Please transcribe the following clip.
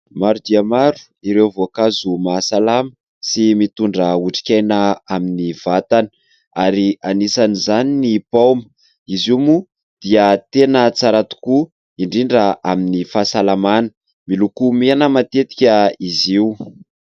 Maro dia maro ireo voankazo mahasalama sy mitondra otrikaina amin'ny vatana, ary anisan' izany ny paoma izy io moa dia tena tsara tokoa indrindra amin'ny fahasalamana, miloko mena matetika izy io.